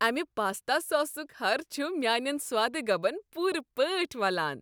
امہ پاستا ساسک ہَر چھ میٛانین سوادٕ گبن پوٗرٕ پٲٹھۍ ولان۔